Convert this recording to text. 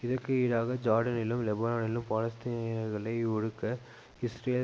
இதற்கு ஈடாக ஜார்டானிலும் லெபனானிலும் பாலஸ்தீனியர்களை ஒடுக்க இஸ்ரேல்